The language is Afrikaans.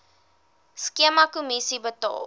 skema kommissie betaal